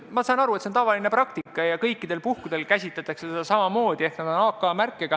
Ma saan aru, et see on tavaline praktika ja kõikidel puhkudel käsitletakse neid samamoodi ehk siis need on AK märkega.